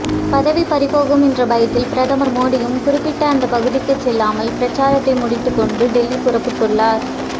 பதவி பறிபோகும் என்ற பயத்தில் பிரதமர் மோடியும் குறிப்பிட்ட அந்த பகுதிக்கு செல்லாமல் பிரச்சாரத்தை முடித்துக் கொண்டு டெல்லி புறப்பட்டுள்ளார்